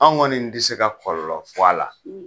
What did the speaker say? An kɔni ti se ka kɔlɔlɔ fɔ a la